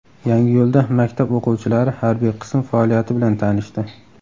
Yangiyo‘lda maktab o‘quvchilari harbiy qism faoliyati bilan tanishdi .